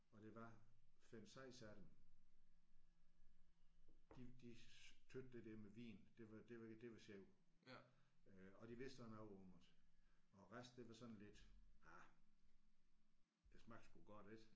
Og der var 5 6 af dem de de synes det der med vin det var det var det var sjovt øh og de vidste også noget om det og resten det var sådan lidt ah det smagte sgu godt ik